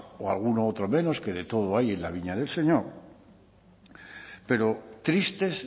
o alguno otro menos que de todo hay en la viña del señor pero tristes